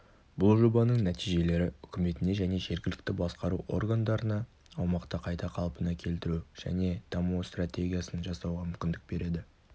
бұл жобаның нәтижелері үкіметіне және жергілікті басқару органдарына аумақты қайта қалпына келтіру және дамыту стратегиясын жасауға мүмкіндік береді